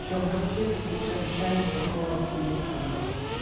пьём конфеты кушаем чай никакого суицида